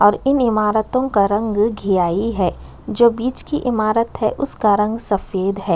और इन इमारतों का रंग घीआई है जो बीच की ईमारत है उसका रंग सफ़ेद है।